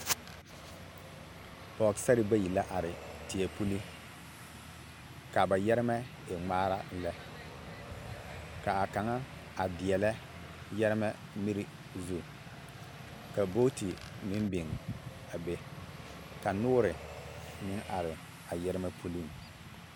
Pɔgesarre bayi la are teɛ puli ka ba yɛremɛ e ŋmaara lɛ ka a kaŋa a deɛlɛ yɛremɛ miri zu ka booti meŋ biŋ a be ka noore meŋ are a yɛremɛ puliŋ.